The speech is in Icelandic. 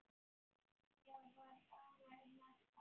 Ég var ánægð með það.